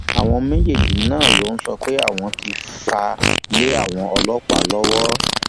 àwọn méjèèje náà ló sọ pé àwọn ti fà lé àwọn ọlọpàá lọwọ